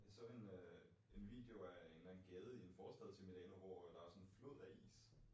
Jeg så en øh en video af en eller anden gade i en forstand til Milano hvor øh der var sådan en flod af is